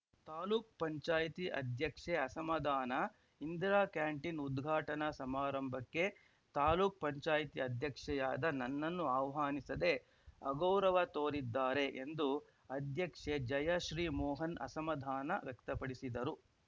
ತಾಲೂಕ್ ಪಂಚಾಯತಿ ಅಧ್ಯಕ್ಷೆ ಅಸಮಾಧಾನ ಇಂದಿರಾ ಕ್ಯಾಂಟೀನ್‌ ಉದ್ಘಾಟನಾ ಸಮಾರಂಭಕ್ಕೆ ತಾಲೂಕ್ ಪಂಚಾಯತಿ ಅಧ್ಯಕ್ಷೆಯಾದ ನನ್ನನ್ನು ಆಹ್ವಾನಿಸದೆ ಅಗೌರವ ತೋರಿದ್ದಾರೆ ಎಂದು ಅಧ್ಯಕ್ಷೆ ಜಯಶ್ರೀಮೋಹನ್‌ ಅಸಮಾಧಾನ ವ್ಯಕ್ತಪಡಿಸಿದರು